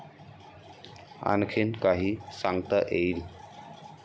'आणखीन काही सांगता येईल?